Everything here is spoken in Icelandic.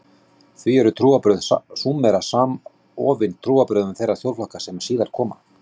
Því eru trúarbrögð Súmera samofin trúarbrögðum þeirra þjóðflokka sem síðar koma.